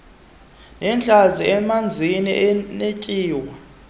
nentlanzi enamanzi anetyuwa